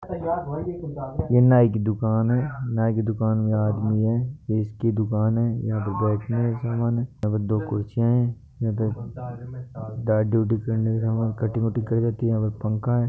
यह नाई की दुकान है नाई की दुकान में आदमी है ये इसकी दुकान है यहाँ पे बैठेने का सामान है यहाँ पे दो कुर्सियां है यहाँ पे दाढ़ी वादी करने का काम और कटिंग वटिंग कर देते है यहा पे पंखा है।